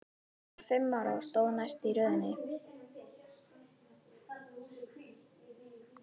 Hún var fimm ára og stóð næst í röðinni.